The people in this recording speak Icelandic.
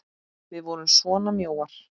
Við vorum svona mjóir!